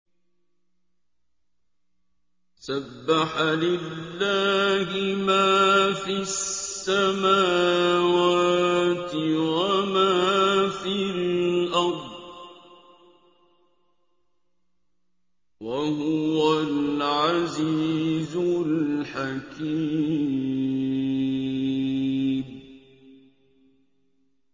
سَبَّحَ لِلَّهِ مَا فِي السَّمَاوَاتِ وَمَا فِي الْأَرْضِ ۖ وَهُوَ الْعَزِيزُ الْحَكِيمُ